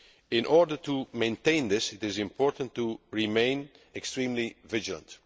In order to maintain this, it is important to remain extremely vigilant.